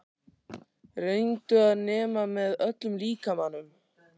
Reyndu að nema með öllum líkamanum.